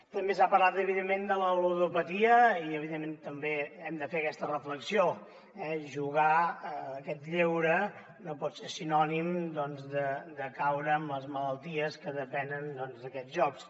també s’ha parlat evidentment de la ludopatia i evidentment també hem de fer aquesta reflexió jugar a aquest lleure no pot ser sinònim doncs de caure en les malalties que depenen d’aquests jocs